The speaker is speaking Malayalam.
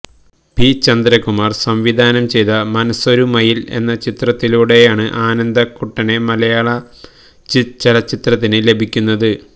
പി ചന്ദ്രകുമാര് സംവിധാനം ചെയ്ത മനസ്സൊരു മയില് എന്ന ചിത്രത്തിലൂടെയാണ് ആനന്ദക്കുട്ടനെ മലയാള ചലച്ചിത്രത്തിന് ലഭിക്കുന്നത്